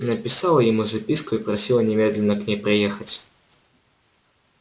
написала ему записку и просила немедленно к ней приехать